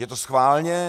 Je to schválně?